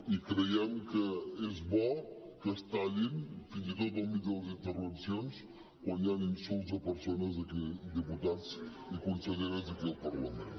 i creiem que és bo que es tallin fins i tot enmig de les intervencions quan hi han insults a persones diputats i conselleres d’aquí el parlament